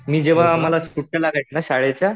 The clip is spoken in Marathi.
मी आम्हाला जेव्हा सुट्ट्या लागायच्या ना शाळेच्या